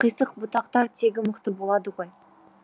бірақ қисық бұтақтар тегі мықты болады ғой